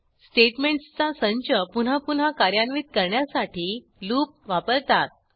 स्टेटमेंटसचा संच पुन्हा पुन्हा कार्यान्वित करण्यासाठी लूप वापरतात